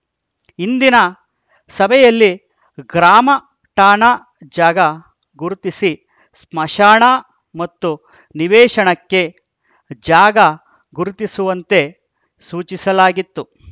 ಹಿಂದಿನ ಸಭೆಯಲ್ಲಿ ಗ್ರಾಮಠಾಣಾ ಜಾಗ ಗುರುತಿಸಿ ಸ್ಮಶಾನ ಮತ್ತು ನಿವೇಶನಕ್ಕೆ ಜಾಗ ಗುರುತಿಸುವಂತೆ ಸೂಚಿಸಲಾಗಿತ್ತು